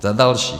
Za další.